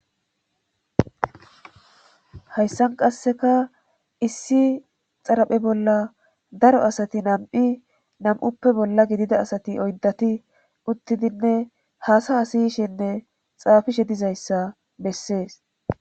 Hayssan qasseka issi xaraphe bolla daro asati nam'i nam'uppe bolla gidida asati oyddati uttidinne haasa asiyshenne xaafishe dizayssa bessees